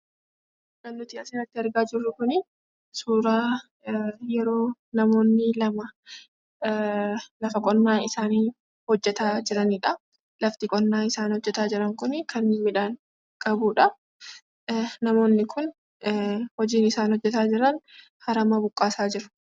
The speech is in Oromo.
Kan nuti asirratti argaa jirru kuni suuraa yeroo namoonni lama lafa qonnaa isaanii hojjetaa jiranidha. Lafti qonnaa isaan hojjetaa jiran kuni kan midhaan qabudha. Namoonni kun hojiin isaan hojjetaa jiran, aramaa buqqaasaa jiru.